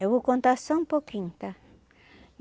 Eu vou contar só um pouquinho, tá?